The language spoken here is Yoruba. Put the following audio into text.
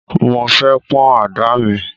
Mo fẹ́ pán àdá mi.